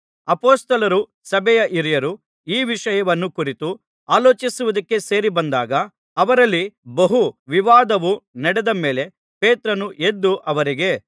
ಅಪೊಸ್ತಲರೂ ಸಭೆಯ ಹಿರಿಯರೂ ಈ ವಿಷಯವನ್ನು ಕುರಿತು ಆಲೋಚಿಸುವುದಕ್ಕೆ ಸೇರಿ ಬಂದಾಗ ಅವರಲ್ಲಿ ಬಹು ವಿವಾದವು ನಡೆದ ಮೇಲೆ ಪೇತ್ರನು ಎದ್ದು ಅವರಿಗೆ